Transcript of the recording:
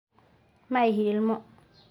Ma ihi ilmo.